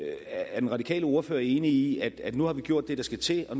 er den radikale ordfører enig i at nu har vi gjort det der skal til og